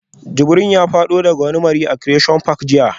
Jibril ya fado daga wani mari a Creation park jiya